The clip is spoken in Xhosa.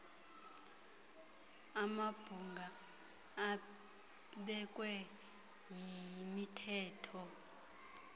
amabhunga abekwe yimithetho